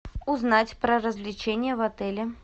узнать про развлечения в отеле